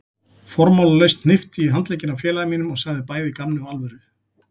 Formálalaust hnippti ég í handlegginn á félaga mínum og sagði bæði í gamni og alvöru